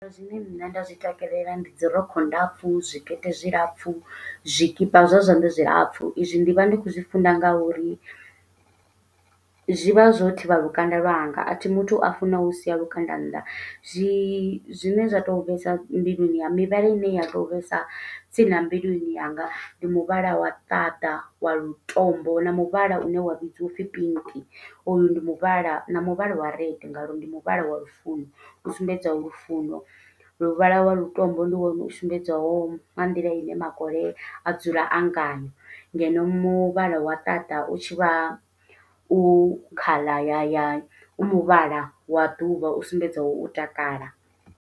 Zwine nṋe nda zwi takalela ndi dzi rokho ndapfu, zwikete zwilapfu, zwikipa zwa zwanḓa zwilapfu. I zwi ndi vha ndi khou zwi funa nga uri zwi vha zwo thivha lukanda lwanga, a thi muthu a funaho u sia lukanda nnḓa. Zwi zwine zwa to vhesa mbiluni ya, mivhala ine ya to vhesa tsini na mbiluni yanga. Ndi muvhala wa ṱaṱa wa lutombo, na muvhala une wa vhidziwa upfi pink, hoyu ndi muvhala na muvhala wa red nga uri ndi muvhala wa lufuno. U sumbedzeho lufuno, luvhala lwa lutombo ndi wone u sumbedzwaho nga nḓila ine makole a dzula a ngayo. Ngeno muvhala wa ṱaṱa, u tshivha u khala ya ya, u muvhala wa ḓuvha u sumbedzaho u takala.